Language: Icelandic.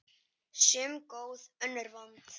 Sum góð, önnur vond.